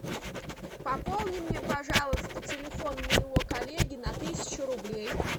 пополни мне пожалуйста телефон моего коллеги на тысячу рублей